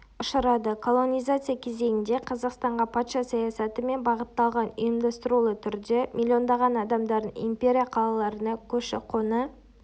ұшырады колонизация кезеңінде қазақстанға патша саясаты мен бағытталған ұйымдастырулы түрде миллиондаған адамдардың империя қалаларына көші-қоны